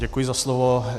Děkuji za slovo.